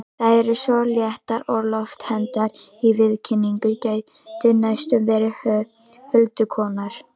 Þær eru svo léttar og loftkenndar í viðkynningu, gætu næstum verið huldukonur.